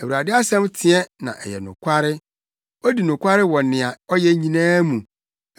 Awurade asɛm teɛ na ɛyɛ nokware odi nokware wɔ nea ɔyɛ nyinaa mu.